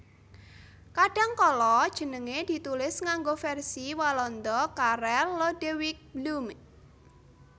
Kadhangkala jenengé ditulis nganggo versi Walanda Karel Lodewijk Blume